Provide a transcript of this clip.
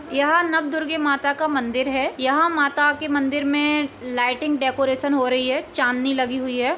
यहाँ नव दुर्गे माता का मंदिर है। यहाँ माता के मंदिर मे लाइटिंग डेकोरेशन हो रही है चांदनी लगी हुई है।